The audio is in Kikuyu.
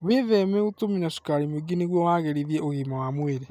Wĩtheme gũtũmĩra cukari mwĩingĩ nĩguo wagĩrithia ũgima wa mwĩrĩ.